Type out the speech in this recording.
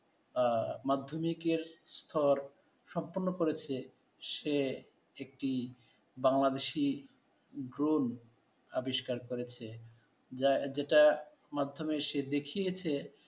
মাধ্যমিকের পর সম্পন্ন করেছে, সে একটি বাংলাদেশি ড্রন আবিষ্কার করেছে যেটা মাধ্যমে সে দেখিয়েছে,